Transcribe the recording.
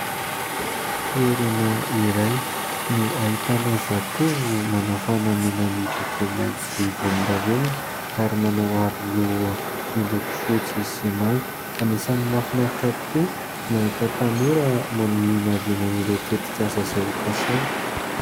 Toerana iray no ahitana zatovo manao fanamiana miloko mainty sy volondavenona ary manao aro-loha miloko fotsy sy manga. Anisan'ny mahafinahitra tokoa ny mahita tanora maminaviana ireo tetikasa izay ho kasainy.